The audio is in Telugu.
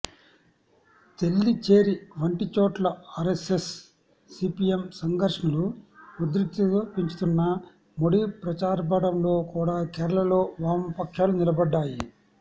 తెల్లిచ్చేరి వంటిచోట్ల ఆరెస్సెస్ సిపిఎం సంఘర్షణలు ఉద్రిక్తత పెంచుతున్నా మోడీ ప్రచారార్బాటంలో కూడా కేరళలో వామపక్షాలు నిలబడ్డాయి